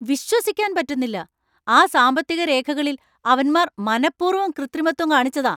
വിശ്വസിക്കാൻ പറ്റുന്നില്ല! ആ സാമ്പത്തിക രേഖകളിൽ അവന്മാര്‍ മനപ്പൂർവ്വം കൃത്രിമത്വം കാണിച്ചതാ.